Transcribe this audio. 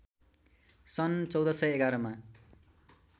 सन् १४११ मा